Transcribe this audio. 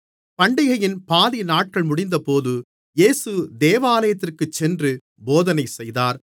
பண்டிகையின் பாதிநாட்கள் முடிந்தபோது இயேசு தேவாலயத்திற்குச் சென்று போதனை செய்தார்